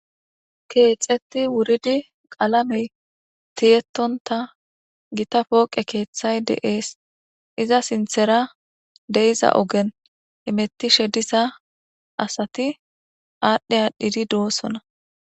Keexeti wuridi qalamey tiyetonta gita pooqe keethay de'ees. Iza sinthen de'iza ogen hametishe diza asati de'osona.